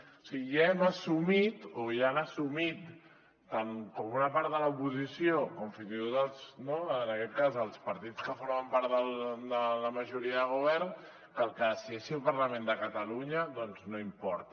o sigui ja hem assumit o ja han assumit tant una part de l’oposició com fins i tot en aquest cas els partits que formen part de la majoria de govern que el que decideixi el parlament de catalunya doncs no importa